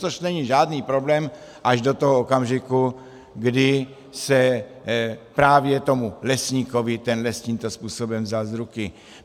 Což není žádný problém až do toho okamžiku, kdy se právě tomu lesníkovi ten les tímto způsobem vzal z ruky.